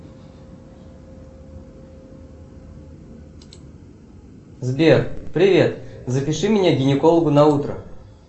сбер привет запиши меня к гинекологу на утро